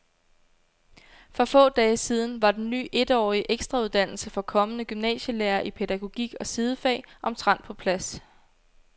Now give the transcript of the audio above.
For få dage siden var den ny etårige ekstrauddannelse for kommende gymnasielærere i pædagogik og sidefag omtrent på plads.